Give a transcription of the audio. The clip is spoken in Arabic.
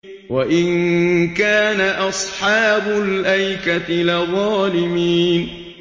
وَإِن كَانَ أَصْحَابُ الْأَيْكَةِ لَظَالِمِينَ